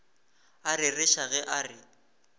a rereša ge a re